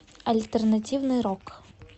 альтернативный рок